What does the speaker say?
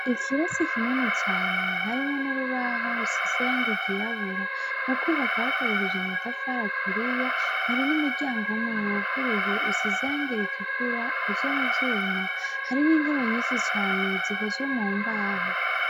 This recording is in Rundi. Ikirasi kinini cane harimwo nurubaho rusize irangi ryirabura mukubaka bakoresheje amatafari aturiye hari n'umuryango umwe wuguruye usize irangi ritukura ukozwe muvyuma hari n'intebe nyinshi cane zikozwe mumbaho.